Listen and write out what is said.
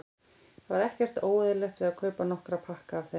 Það var ekkert óeðlilegt við að kaupa nokkra pakka af þeim.